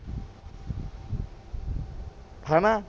ਹੈ ਨਾ